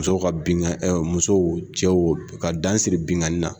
Muso ka binkan ɛ musow cɛw ka dan siri binkanni na